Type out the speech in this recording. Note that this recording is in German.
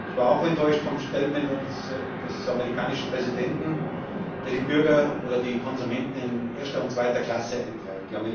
Ich war auch enttäuscht vom Statement des amerikanischen Präsidenten, der die Bürger oder die Konsumenten in erste oder zweite Klasse einteilt.